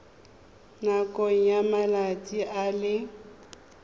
nakong ya malatsi a le